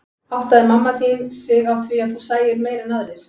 Áttaði mamma þín sig á því að þú sæir meira en aðrir?